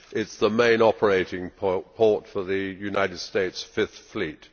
It is the main operating port for the United States Fifth Fleet